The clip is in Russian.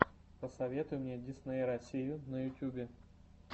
посоветуй мне дисней россию на ютьюбе